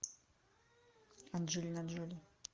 анджелина джоли